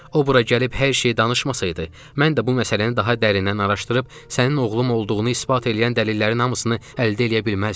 O bura gəlib hər şeyi danışmasaydı, mən də bu məsələni daha dərindən araşdırıb sənin oğlum olduğunu isbat eləyən dəlillərin hamısını əldə eləyə bilməzdim.